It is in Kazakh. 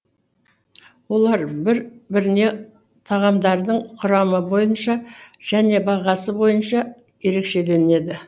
олар бір біріне тағамдардың құрамы бойынша және бағасы бойынша ерекшеленеді